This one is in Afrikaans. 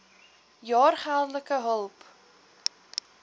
jaar geldelike hulp